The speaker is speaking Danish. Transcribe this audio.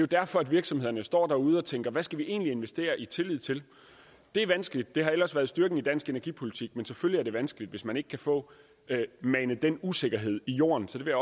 derfor at virksomhederne står derude og tænker at hvad skal vi egentlig investere i tillid til det er vanskeligt det har ellers været styrken i dansk energipolitik men selvfølgelig er det vanskeligt hvis man ikke kan få manet den usikkerhed i jorden så det vil